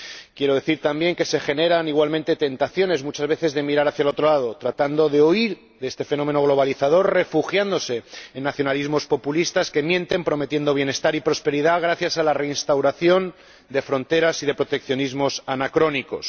Quiero decir también que muchas veces se generan igualmente tentaciones de mirar hacia otro lado, tratando de huir de este fenómeno globalizador, buscando refugio en nacionalismos populistas que mienten prometiendo bienestar y prosperidad gracias a la reinstauración de fronteras y de proteccionismos anacrónicos.